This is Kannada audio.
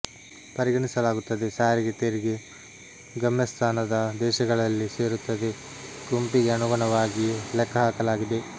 ಪರಿಗಣಿಸಲಾಗುತ್ತದೆ ಸಾರಿಗೆ ತೆರಿಗೆ ಗಮ್ಯಸ್ಥಾನದ ದೇಶಗಳಲ್ಲಿ ಸೇರುತ್ತದೆ ಗೆ ಗುಂಪಿಗೆ ಅನುಗುಣವಾಗಿ ಲೆಕ್ಕಹಾಕಲಾಗಿದೆ